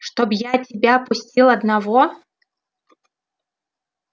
чтоб я тебя пустил одного